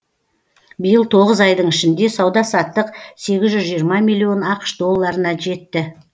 биыл тоғыз айдың ішінде сауда саттық сегіз жүз жиырма миллион ақш долларына жетті